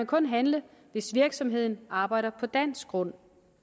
kun handle hvis virksomheden arbejder på dansk grund